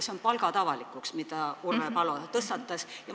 See on palkade avalikuks tegemise teema, mille tõstatas Urve Palo.